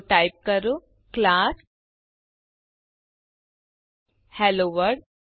તો ટાઇપ કરો class hello world